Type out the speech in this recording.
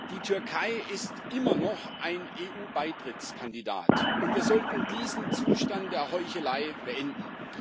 Die Türkei ist immer noch ein EU Beitrittskandidat, und wir sollten diesen Zustand der Heuchelei beenden.